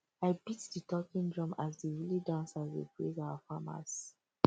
i beat di talking drum as di village dancers dey praise our farmers